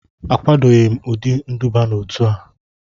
Akwadoghị m ụdị nduba n'otu a